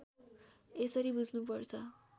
यसरी बुझ्नुपर्छ